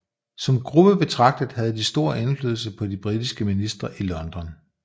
Som gruppe betragtet havde de stor indflydelse på de britiske ministre i London